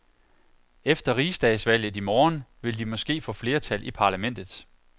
Efter riksdagsvalget i morgen vil de måske få flertal i parlamentet.